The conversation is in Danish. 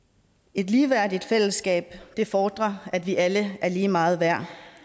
et ligeværdigt fællesskab fordrer at vi alle er lige meget værd